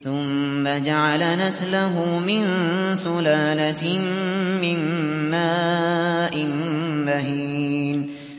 ثُمَّ جَعَلَ نَسْلَهُ مِن سُلَالَةٍ مِّن مَّاءٍ مَّهِينٍ